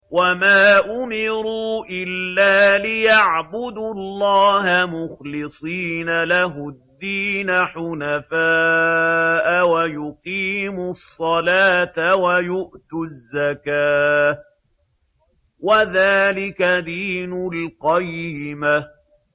وَمَا أُمِرُوا إِلَّا لِيَعْبُدُوا اللَّهَ مُخْلِصِينَ لَهُ الدِّينَ حُنَفَاءَ وَيُقِيمُوا الصَّلَاةَ وَيُؤْتُوا الزَّكَاةَ ۚ وَذَٰلِكَ دِينُ الْقَيِّمَةِ